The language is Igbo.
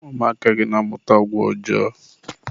ụmụaka gị na-amụta agwa ọjọọ.